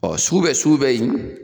Ɔ sugu bɛ sugu bɛ yen